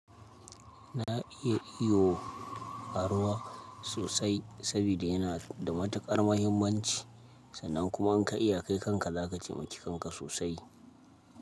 Na iya iyo a ruwa sosai sabida yana da matukar muhimmanci sannan kuma in ka iya kai kanka, za ka taimaki kanka sosai.